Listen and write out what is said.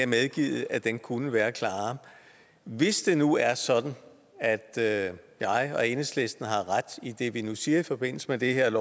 medgivet at den kunne være klarere hvis det nu er sådan at jeg og enhedslisten har ret i det vi nu siger i forbindelse med det her